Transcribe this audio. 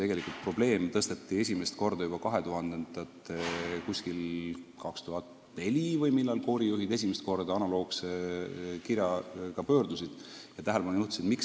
Tegelikult probleem tõsteti üles juba umbes aastal 2004 või millal see oligi, kui koorijuhid esimest korda analoogse kirjaga oma murele tähelepanu juhtisid.